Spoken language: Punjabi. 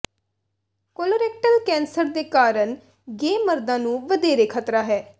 ਕੋਲੋਰੇਕਟਲ ਕੈਂਸਰ ਦੇ ਕਾਰਨ ਗੇ ਮਰਦਾਂ ਨੂੰ ਵਧੇਰੇ ਖ਼ਤਰਾ ਹੈ